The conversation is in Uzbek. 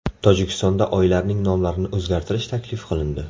Tojikistonda oylarning nomlarini o‘zgartirish taklif qilindi.